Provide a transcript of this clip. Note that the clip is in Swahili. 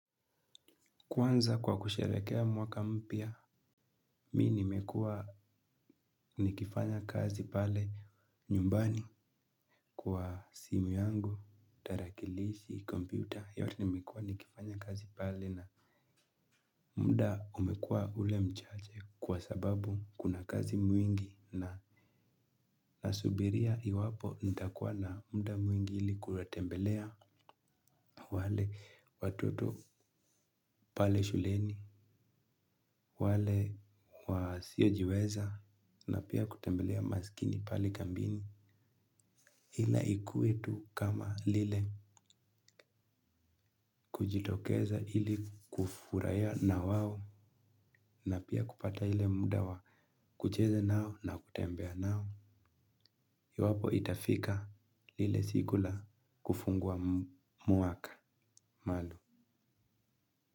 Kwanza kwa kushrehekea mwaka mpya, mimi nimekua nikifanya kazi pale nyumbani kwa simu yangu, tarakilishi, kompyuta, yote nimekua nikifanya kazi pale na muda umekua ule mchache kwa sababu kuna kazi mwingi na nasubiria iwapo nitakuwa na muda mwingi ili kutembelea wale watoto pale shuleni, wale wasiojiweza na pia kutembelea masikini pale kambini. Na ikue tu kama lile kujitokeza ili kufurahia na wao na pia kupata ile muda wa kucheza nao na kutembea nao. Iwapo itafika lile siku la kufungua mwaka.